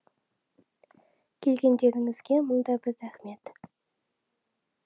келгендеріңізге мың да бір рақмет